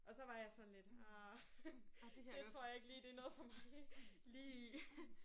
Og så var jeg sådan lidt ah det tror jeg ikke lige det er noget for mig lige